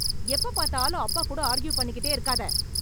எப்ப பாத்தாலும் அப்பா கூட ஆர்கியூ பண்ணிக்கிட்டே இருக்காத.